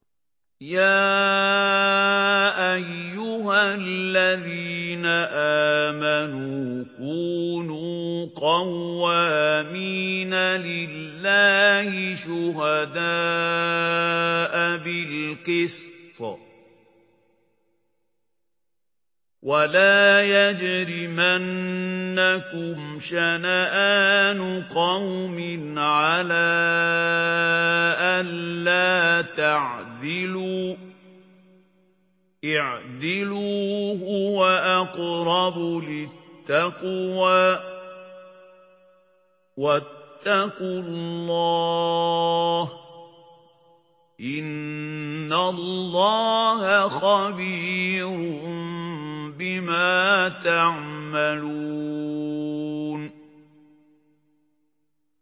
يَا أَيُّهَا الَّذِينَ آمَنُوا كُونُوا قَوَّامِينَ لِلَّهِ شُهَدَاءَ بِالْقِسْطِ ۖ وَلَا يَجْرِمَنَّكُمْ شَنَآنُ قَوْمٍ عَلَىٰ أَلَّا تَعْدِلُوا ۚ اعْدِلُوا هُوَ أَقْرَبُ لِلتَّقْوَىٰ ۖ وَاتَّقُوا اللَّهَ ۚ إِنَّ اللَّهَ خَبِيرٌ بِمَا تَعْمَلُونَ